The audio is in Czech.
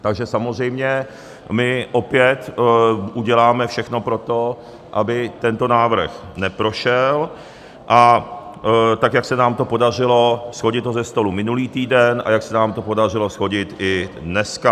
Takže samozřejmě my opět uděláme všechno pro to, aby tento návrh neprošel, a tak, jak se nám to podařilo shodit ho ze stolu minulý týden a jak se nám to podařilo shodit i dneska.